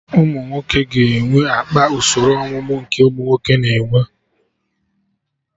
Ụmụnwoke ga-enwe akpa usoro ọmụmụ nke ụmụnwoke na-enwe